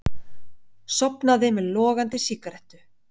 Sofnaði með logandi sígarettu